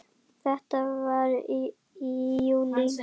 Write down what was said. Þetta var í júlí.